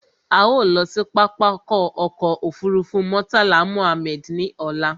A ó lọ sí pápákọ̀ ọkọ̀ òfurufú Murtala Mohammed ní ọ̀la